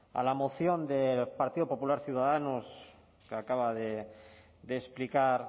a la moción del partido popular ciudadanos que acaba de explicar